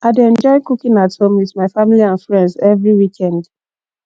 i dey enjoy cooking at home with my family and friends every weekend